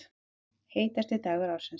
Heitasti dagur ársins